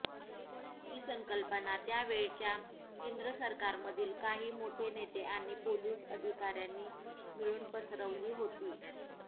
ही संकल्पना त्यावेळच्या केंद्र सरकारमधील काही मोठे नेते आणि पोलीस अधिकाऱयांनी मिळून पसरवली होती